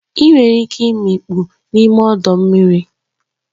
Ị nwere ike imikpu n'ime ọdọ mmiri